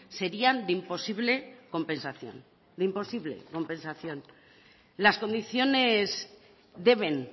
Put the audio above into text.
serían de imposible compensación de imposible compensación las condiciones deben